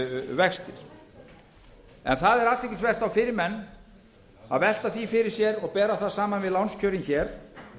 vextir en það er athyglisvert fyrir menn að velta því fyrir sér og bera það saman við lánskjörin hér